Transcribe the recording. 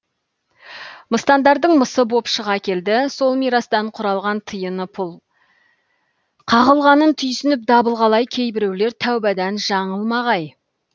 мыстандардың мысы боп шыға келді сол мирастан құралған тиыны пұлы қағылғанын түйсініп дабыл қалай кейбіреулер тәубадан жаңылмағай